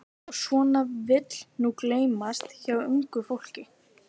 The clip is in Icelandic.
Og svona vill nú gleymast hjá ungu fólki.